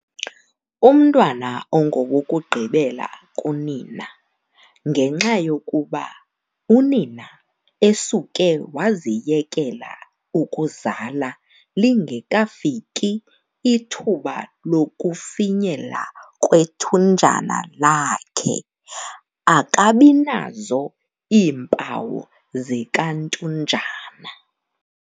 Umntwana ongowokugqibela kunina ngenxa yokuba unina esuke waziyekela ukuzala lingekafiki ithuba lokufinyela kwethunjana lakhe, akabinazo iimpawu zikantunjana.